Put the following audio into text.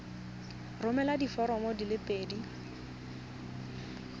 romela diforomo di le pedi